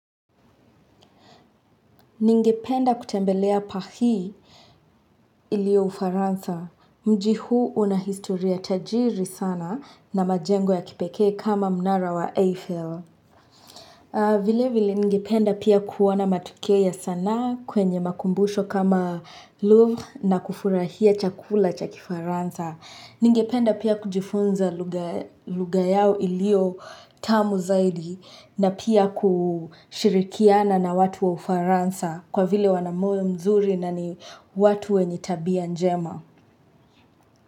Ningependa kutembelea paris iliyo Ufaransa. Mji huu una historia tajiri sana na majengo ya kipekee kama mnara wa Eiffel. Vile vile ningependa pia kuona matokea ya sanaa kwenye makumbusho kama Louvre na kufurahia chakula cha Kifaransa. Ningependa pia kujifunza lugha yao iliyo tamu zaidi na pia kushirikiana na watu wa Ufaransa kwa vile wana moyo mzuri na ni watu wenye tabia njema.